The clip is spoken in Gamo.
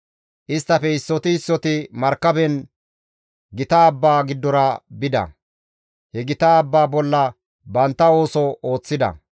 Isttafe issoti issoti markaben gita abba giddora bida; he gita abba bolla bantta ooso ooththida.